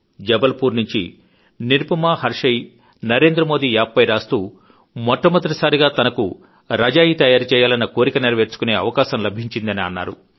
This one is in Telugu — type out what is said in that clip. జబల్ పూర్ నుంచి నిరుపమా హర్షేయ్ నరేంద్రమోదీ యాప్ పై రాస్తూ మొట్టమొదటి సారిగా తనకు రజాయీ తయారు చేయాలన్న కోరిక నెరవేర్చుకొనే అవకాశం లభించిందని అన్నారు